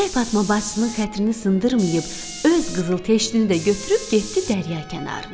Göyçək Fatma bacısının xətrini sındırmayıb, öz qızıl teştini də götürüb getdi dərya kənarına.